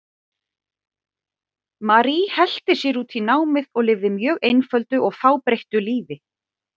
Marie helti sér út í námið og lifði mjög einföldu og fábreyttu lífi.